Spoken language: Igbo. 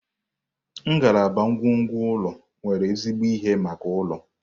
Ngalaba ngwongwo ụlọ nwere ezigbo ihe maka ụlọ.